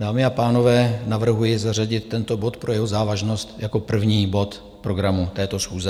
Dámy a pánové, navrhuji zařadit tento bod pro jeho závažnost jako první bod programu této schůze.